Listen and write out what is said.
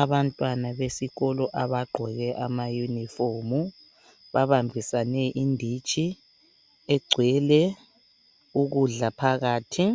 Abantwana besikolo abagqoke amayunifomu babambisane inditshi egcwele ukudla phakathi.